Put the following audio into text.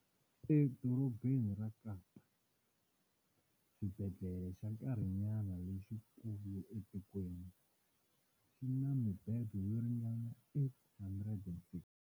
eDorobeni ra Kapa, xibedhlele xa nkarhinayana lexikulu etikweni, xi na mibedwa yo ringana 862.